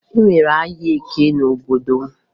E nwere ahịa Eke n'obodo m